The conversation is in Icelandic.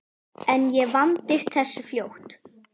En ég vandist þessu fljótt.